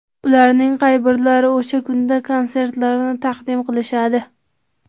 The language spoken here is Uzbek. Ularning qay birlari o‘sha kunda konsertlarini taqdim qilishadi ?